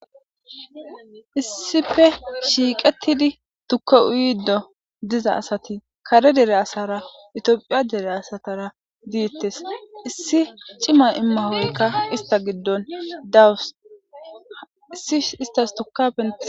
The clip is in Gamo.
Issife shiiqettidi tukka uyiddo diza asati kare dere asara itoophiya dere asatara diittes issi cima immahoykka ista giddon dawus issi istas tuka pene.